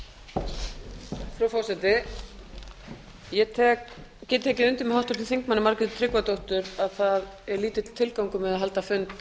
frú forseti ég get tekið undir með háttvirtum þingmanni margréti tryggvadóttur að það er lítill tilgangur með að halda fund